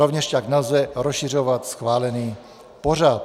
Rovněž tak nelze rozšiřovat schválený pořad.